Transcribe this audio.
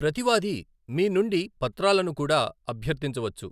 ప్రతివాది మీ నుండి పత్రాలను కూడా అభ్యర్థించవచ్చు.